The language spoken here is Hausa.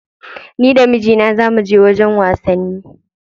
Ni da mijina za muje wajen wasanni.